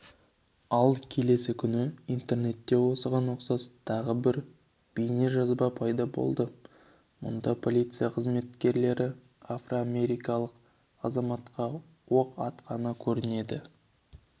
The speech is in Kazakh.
ал келесі күні интернетте осыған ұқсас тағы бір бейнежазба пайда болды мұнда полиция қызметкерлері афроамерикалық азаматқа оқ атқаны көрінеді